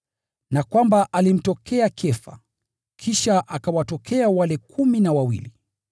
na kwamba alimtokea Kefa, kisha akawatokea wale kumi na wawili.